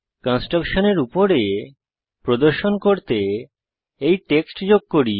কনস্ট্রাক্টশনের উপর প্রদর্শন করতে এই টেক্সট যোগ করি